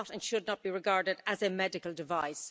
They are not and should not be regarded as a medical device.